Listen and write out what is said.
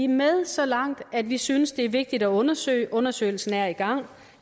med så langt at vi synes det er vigtigt at undersøge undersøgelsen er i gang